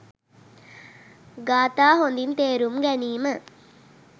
ගාථා හොඳින් තේරුම් ගැනීම